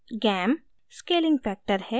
gam : scaling factor है